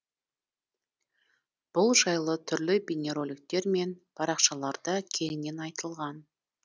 бұл жайлы түрлі бейнероликтер мен парақшаларда кеңінен айтылған